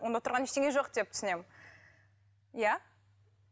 онда тұрған ештеңе жоқ деп түсінемін иә